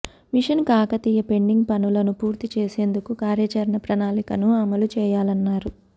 machine Kakatiya pending పనులను పూర్తి చేసేందుకు కార్యాచరణ ప్రణాళికను అమలు చేయాలన్నారు